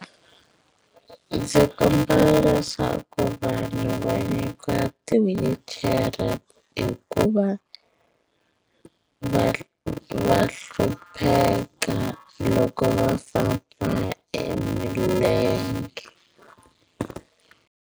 Ndzi kombela leswaku vanhu va nyikiwa ti-wheelchair hikuva va va hlupheka loko va famba e milenge.